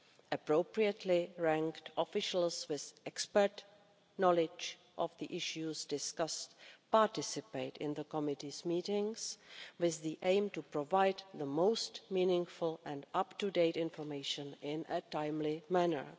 Appropriately ranked officials with expert knowledge of the issues discussed participate in the committee's meetings with the aim of providing the most meaningful and up to date information in a timely manner.